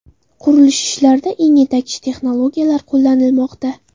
Qurilish ishlarida eng yetakchi texnologiyalar qo‘llanilmoqda.